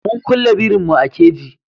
Mun kulle birin mu a kaji